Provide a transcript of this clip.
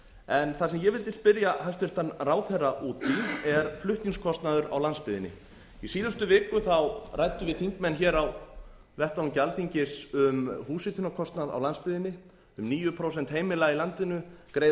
en það sem ég vildi spyrja hæstvirtan ráðherra út í er flutningskostnaður á landsbyggðinni í síðustu viku ræddum við þingmenn hér á vettvangi alþingis um húshitunarkostnað á landsbyggðinni um níu prósent heimila í landinu greiða